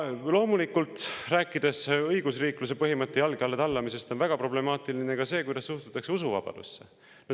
Loomulikult, rääkides õigusriikluse põhimõtte jalge alla tallamisest, on väga problemaatiline ka see, kuidas suhtutakse usuvabadusse.